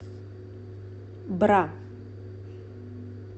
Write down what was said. бра